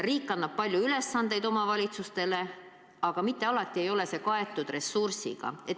Riik annab omavalitsustele palju ülesandeid, aga mitte alati ei ole see kaetud ressursiga.